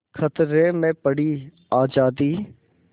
खतरे में पड़ी आज़ादी